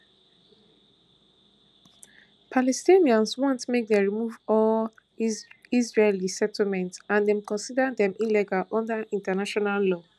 palestinians want make dem remove all israeli settlements and dem consider dem illegal under international law